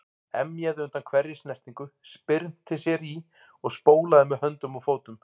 Emjaði undan hverri snertingu, spyrnti sér í og spólaði með höndum og fótum.